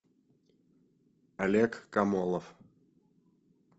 олег комолов